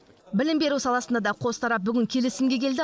білім беру саласында да қос тарап бүгін келісімге келді